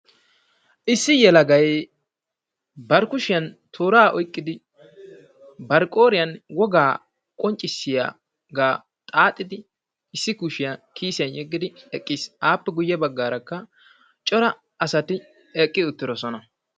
Issi yelagay bari kushiyan tooraa oyqqidi bari qooriyan wogaa qonccissiyaaga xaaxidi issi kushiyaa kiisiyan yeggidi eqqis. Aappe guyye baggaarakka cora asati eqqi uttiisona.